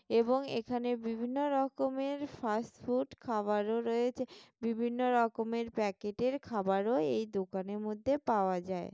এবং এখানে বিভিন্ন রকমের ফাস্টফুড খাবারও রয়েছে বিভিন্ন রকমের প্যাকেট -এর খাবারও এই দোকানের মধ্যে পাওয়া যায়।